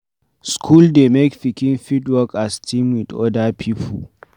School dey make pikin fit work as team with oda pipo